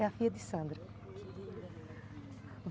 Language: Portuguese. É a filha de Sandra.